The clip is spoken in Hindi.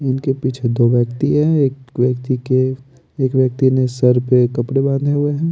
इनके पीछे दो व्यक्ति है एक व्यक्ति के एक व्यक्ति ने सर पे कपड़े बांधे हुए हैं।